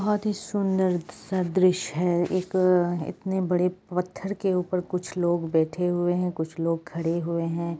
बहुत ही सुंदर सा दृश्य है एक इतने बड़े पत्थर के ऊपर कुछ लोग बैठे हुए हैं कुछ लोग खड़े हुए हैं ।